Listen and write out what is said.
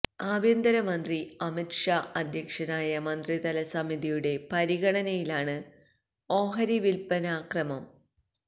ആഭ്യന്തര മന്ത്രി അമിത് ഷാ അധ്യക്ഷനായ മന്ത്രിതല സമിതിയുടെ പരിഗണനയിലാണ് ഓഹരി വില്പ്പനാ ക്രമം